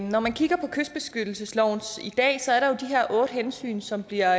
når man kigger på kystbeskyttelsesloven i dag ser der er de her otte hensyn som bliver